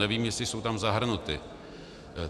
Nevím, jestli jsou tam zahrnuty.